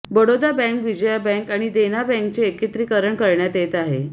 Baroda bank Vijaya bank आणि देना बँकेचे एकत्रीकरण करण्यात येत आहे